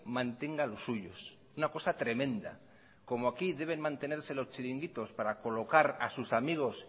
mantenga los suyos una cosa tremenda como aquí deben mantenerse los chiringuitos para colocar a sus amigos